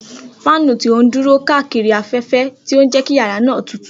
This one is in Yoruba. Fáànù ti o duro n kaakiri afẹfẹ, ti o jẹ ki yara naa tutu.